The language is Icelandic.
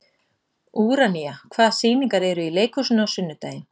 Úranía, hvaða sýningar eru í leikhúsinu á sunnudaginn?